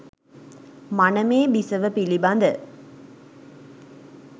මනමේ බිසව පිළිබඳ